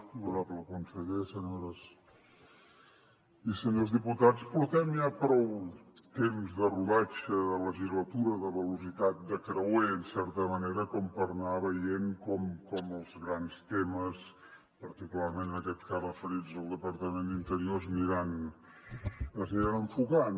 honorable conseller senyores i senyors diputats portem ja prou temps de rodatge de legislatura de velocitat de creuer en certa manera com per anar veient com els grans temes particularment en aquest cas referits al departament d’interior s’aniran enfocant